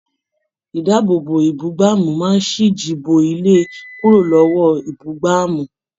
Idaabobo ibugbamu máa n siji bo ilé kúrò lọwọ ibugbamu.